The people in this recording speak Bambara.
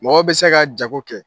Mɔgɔ bɛ se ka jago kɛ